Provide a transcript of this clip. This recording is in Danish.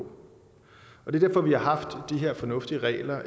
og det er derfor vi har haft de her fornuftige regler